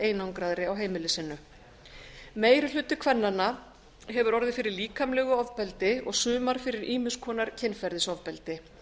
einangraðri á heimili sínu meiri hluti kvennanna hefur orðið fyrir líkamlegu ofbeldi og sumar fyrir ýmiss konar kynferðisofbeldi